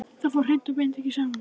Það fór hreint og beint ekki saman.